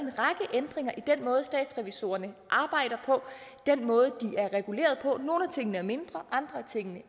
den måde statsrevisorerne arbejder på den måde de er reguleret på nogle af tingene er mindre andre af tingene